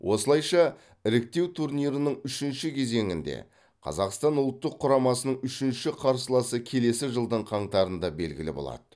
осылайша іріктеу турнирінің үшінші кезеңінде қазақстан ұлттық құрамасының үшінші қарсыласы келесі жылдың қаңтарында белгілі болады